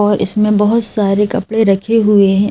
और इसमें बहुत सारे कपड़े रखे हुए हैं।